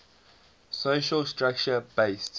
social structure based